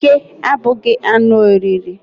Oke abụghị anụ oriri